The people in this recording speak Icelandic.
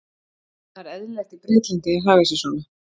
Það er eðlilegt í Bretlandi að haga sér svona.